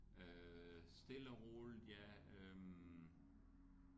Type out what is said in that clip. Øh stille og roligt ja øh